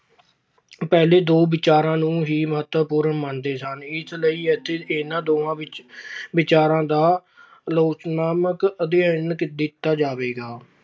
ਪਹਿਲੇ ਦੋ ਵਿਚਾਰਾਂ ਨੂੰ ਹੀ ਮਹੱਤਵਪੂਰਨ ਮੰਨਦੇ ਸਨ। ਇਸ ਲਈ ਇਥੇ ਇਨ੍ਹਾਂ ਦੋਹਾਂ ਵਿਚ ਅਹ ਵਿਚਾਰਾਂ ਦਾ ਆਲੋਚਨਾਤਮਕ ਅਧਿਐਨ ਦਿੱਤਾ ਜਾਵੇਗਾ।